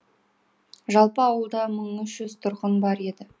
жалпы ауылда мың үш жүз тұрғын бар еді